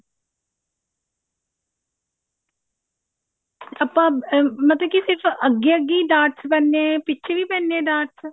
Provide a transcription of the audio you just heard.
ਆਪਾਂ ਅਮ ਮਤਲਬ ਕੀ ਅੱਗੇ ਅੱਗੇ ਹੀ ਡਾਟ ਪੈਦੇ ਏ ਪਿੱਛੇ ਵੀ ਪੈਂਦੇ ਨੇ ਡਾਟਸ